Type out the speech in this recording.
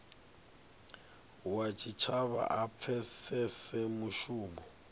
wa tshitshavha a pfesese mushumo